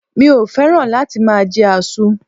Mi ò féràn láti máa je àzu